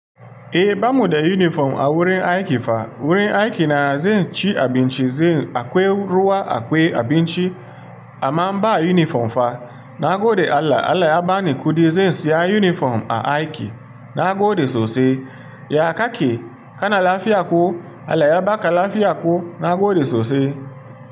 Eh, bamu da yunifom a wurin aiki fa. Wurin aiki na zai ci abinci, zai akwai ruwa akwai abinci amma ba yunifom fa. Na gode Allah, Allah ya bani kuɗi zan siya yunifom a aiki. Na gode sosai. Ya kake, kana lafiya ko? Allah ya baka lafiya ko? Na gode sosai.